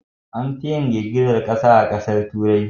Anfi yin girgizar kasa a Turai.